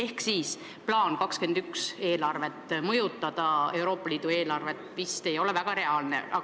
Aga plaan muuta seda 2021. aastast vist ei ole väga reaalne.